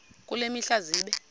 kule mihla zibe